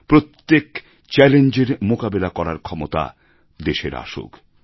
প্রত্যেক চ্যালেঞ্জের মোকাবিলা করার ক্ষমতা দেশের আসুক